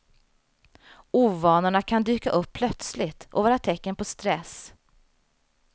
Ovanorna kan dyka upp plötsligt och vara tecken på stress.